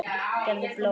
Gefðu blóð.